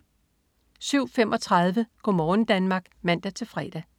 07.35 Go' morgen Danmark (man-fre)